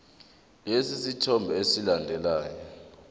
lesi sithombe esilandelayo